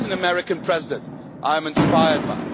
That's an American President I am inspired